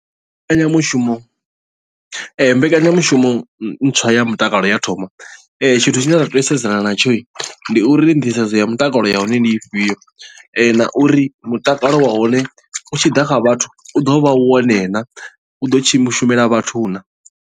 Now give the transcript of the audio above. Mbekanyamushumo mbekanyamushumo ntswa ya mutakalo ya thoma tshithu tshine nda tea u sedzana na tsho ndi uri nḓisedzo ya mutakalo ya hone ndi ifhio na uri mutakalo wa hone u tshi ḓa kha vhathu u ḓo vha wone na u ḓo shumela vhathu naa.